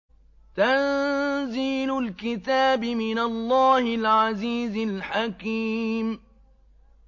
تَنزِيلُ الْكِتَابِ مِنَ اللَّهِ الْعَزِيزِ الْحَكِيمِ